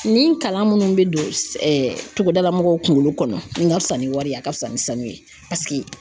Nin kalan munnu bɛ don togodala mɔgɔw kunkolo kɔnɔ nin ka fisa ni wariye a ka fisa ni sanu ye paseke